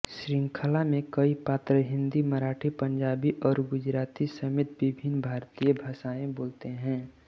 शृंखला में कई पात्र हिंदी मराठी पंजाबी और गुजराती समेत विभिन्न भारतीय भाषाऐं बोलते हैं